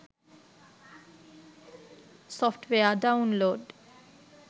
software download